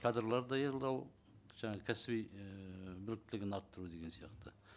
кадрлар даярлау жаңа кәсіби ііі біліктілігін арттыру деген сияқты